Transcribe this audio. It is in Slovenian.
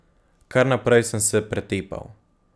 Kar naprej sem se pretepal.